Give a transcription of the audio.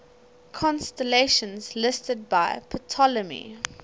constellations listed by ptolemy